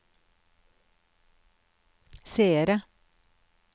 seere